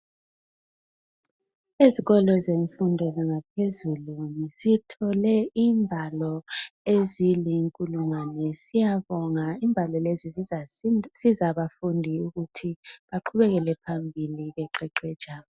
Ezikolo zemfundo zangaphezulu sithole imbalo ezilinkulungwane siyabonga imbalo lezi zizasiza abafundi ukuthi baqhubekele phambili beqeqetsha.